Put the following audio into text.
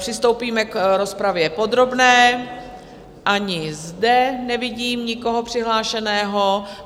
Přistoupíme k rozpravě podrobné, ani zde nevidím nikoho přihlášeného.